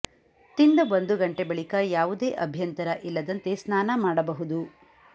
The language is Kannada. ತಿಂದ ಒಂದು ಗಂಟೆ ಬಳಿಕ ಯಾವುದೇ ಅಭ್ಯಂತರ ಇಲ್ಲದಂತೆ ಸ್ನಾನ ಮಾಡಬಹುದು